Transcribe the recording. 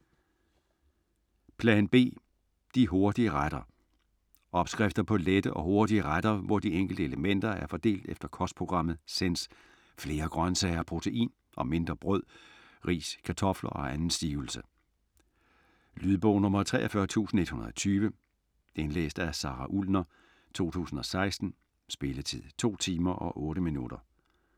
Plan B - de hurtige retter Opskrifter på lette og hurtige retter hvor de enkelte elementer er fordelt efter kostprogrammet Sense: flere grøntsager og protein og mindre brød, ris, kartofter og anden stivelse. Lydbog 43120 Indlæst af Sara Ullner, 2016. Spilletid: 2 timer, 8 minutter.